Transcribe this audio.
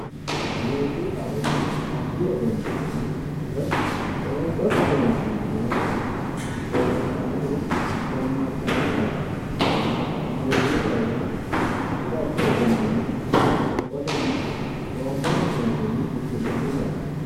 Muuziiqaho yaa addi egennaammi woyi qoonqote seensilli nonsari zee'mitanno woyi zammartanno garaati muuziiqaho yaa addi addi egennonni qoonqotenni qoonqote seesinni fushi'nanni garaati